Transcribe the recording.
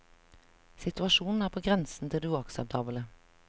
Situasjonen er på grensen til det uakseptable.